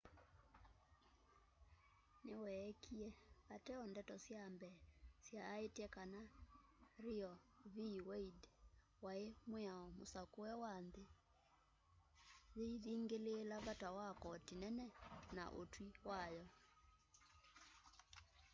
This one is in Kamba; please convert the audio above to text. niweekie ateo ndeto sya mbee syaaite kana roe v wade ai mwiao musakue wa nthi yiithingiliila vata wa koti nene na utwi wayo